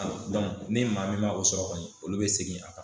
ni maa min ma o sɔrɔ kɔni olu bɛ segin a kan.